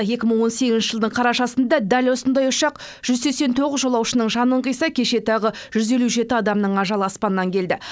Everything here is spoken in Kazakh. екі мың он сегізінші жылдың қарашасында дәл осындай ұшақ жүз сексен тоғыз жолаушының жанын қиса кеше тағы жүз елу жеті адамның ажалы аспаннан келді